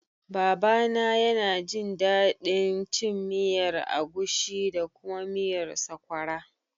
Baba na ya na jin daɗin cin miyar agushi da kuma miyar sokwara